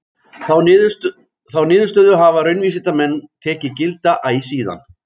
Þá niðurstöðu hafa raunvísindamenn tekið gilda æ síðan.